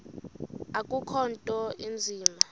akukho nto inzima